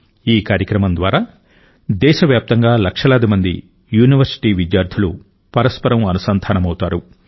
ఈ కార్యక్రమం ద్వారా దేశవ్యాప్తంగా లక్షలాది మంది యూనివర్సిటీ విద్యార్థులు పరస్పరం అనుసంధానమవుతారు